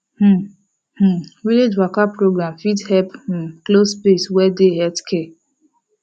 um um village waka program fit help um close space wey dey healthcare